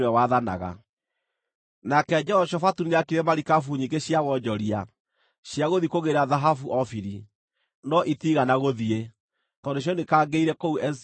Nake Jehoshafatu nĩaakire marikabu nyingĩ cia wonjoria, cia gũthiĩ kũgĩĩra thahabu Ofiri, no itiigana gũthiĩ, tondũ nĩcioinĩkangĩire kũu Ezioni-Geberi.